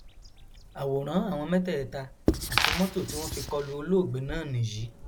àwòrán àwọn mẹtẹẹta àti mọtò tí wọn fi kọlu olóògbé náà nìyí